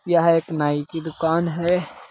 यह एक नाई की दुकान है।